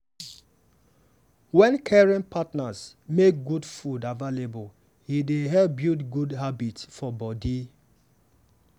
wen caring partners make better food available e dey help build good habit for body.